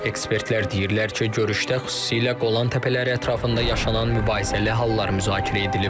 Ekspertlər deyirlər ki, görüşdə xüsusilə Qolan təpələri ətrafında yaşanan mübahisəli hallar müzakirə edilib.